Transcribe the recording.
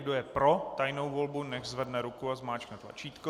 Kdo je pro tajnou volbu, nechť zvedne ruku a zmáčkne tlačítko.